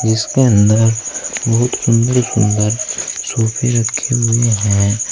इसके अंदर बहुत सुंदर सुंदर सोफे रखें हुए हैं।